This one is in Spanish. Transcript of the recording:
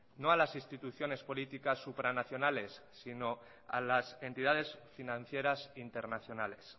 no a las instituciones políticas supranacionales sino a las entidades financieras internacionales